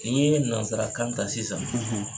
Ni ye nanzarakan ta sisan